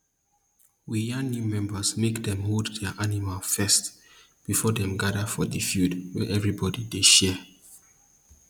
we yan new members make dem hold their animal first before dem gada for di field wey everybody dey share